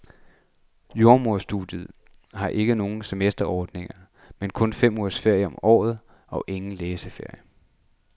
Jordemoderstudiet har ikke har nogen semesterordning, men kun fem ugers ferie om året og ingen læseferier.